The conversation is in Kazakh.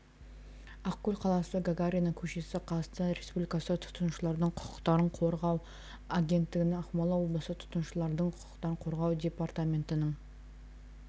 ақкөл қаласы гагарина көшесі қазақстан республикасы тұтынушылардың құқықтарын қорғау агентігінің ақмола облысы тұтынушылардың құқықтарын қорғау департаментінің